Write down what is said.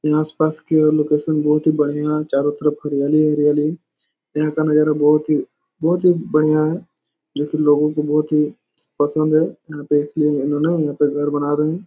यहाँ आस-पास के ओर लोकेशन बहुत ही बढ़िया चारो तरफ हरियाली हरियाली यहाँ का नज़ारा बहोत ही बहोत ही बढ़िया है जो कि लोगो को बहोत ही पसंद है तो इसलिए इन्होंने यहाँ पे घर बना रहे है।